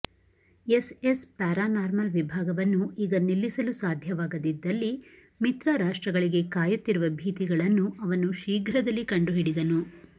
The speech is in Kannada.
ಎಸ್ಎಸ್ ಪ್ಯಾರಾನಾರ್ಮಲ್ ವಿಭಾಗವನ್ನು ಈಗ ನಿಲ್ಲಿಸಲು ಸಾಧ್ಯವಾಗದಿದ್ದಲ್ಲಿ ಮಿತ್ರರಾಷ್ಟ್ರಗಳಿಗೆ ಕಾಯುತ್ತಿರುವ ಭೀತಿಗಳನ್ನು ಅವನು ಶೀಘ್ರದಲ್ಲಿ ಕಂಡುಹಿಡಿದನು